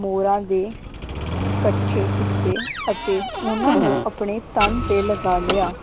ਮੋਰਾਂ ਦੇ ਇਕੱਠੇ ਕੀਤੇ ਅਤੇ ਉਹਨਾਂ ਨੂੰ ਆਪਣੇ ਤਨ ਤੇ ਲਗਾ ਲਿਆ